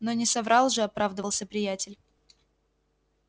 но не соврал же оправдывался приятель